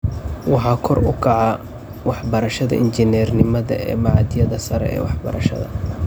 Waxaa kor u kaca waxbarashada injineernimada ee machadyada sare ee waxbarashada.